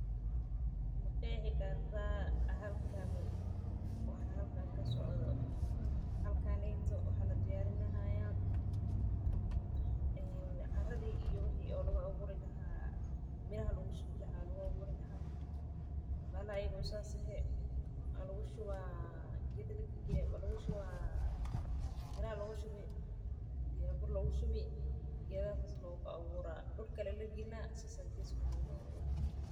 Ma qeexi karta waxa halkan ka socda, waxa neytuu waxa ladiyarinaya ee caradi iyo wixii laguawuri lahaa miraha lagushuwi laxaa laguawurilaha, bahala ayago sas eh alushuwaa, qed lagalgaliye, caraa lagushuwaa, dulka lee lagaline .